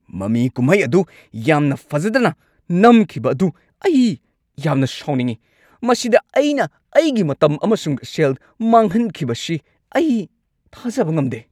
ꯃꯃꯤ ꯀꯨꯝꯍꯩ ꯑꯗꯨ ꯌꯥꯝꯅ ꯐꯖꯗꯅ ꯅꯝꯈꯤꯕ ꯑꯗꯨ ꯑꯩ ꯌꯥꯝꯅ ꯁꯥꯎꯅꯤꯡꯉꯤ꯫ ꯃꯁꯤꯗ ꯑꯩꯅ ꯑꯩꯒꯤ ꯃꯇꯝ ꯑꯃꯁꯨꯡ ꯁꯦꯜ ꯃꯥꯡꯍꯟꯈꯤꯕꯁꯤ ꯑꯩ ꯊꯥꯖꯕ ꯉꯝꯗꯦ꯫